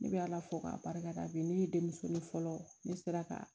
Ne bɛ ala fo k'a barika da bi ne ye denmuso ni fɔlɔ ne sera ka